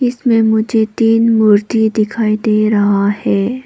इसमें मुझे तीन मूर्ति दिखाई दे रहा है।